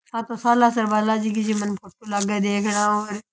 आ तो सालासर बालाजी की ज्यो मन फोटो लागे देखनउ।